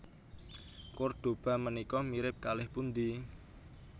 Kordoba menika mirip kalih pundi?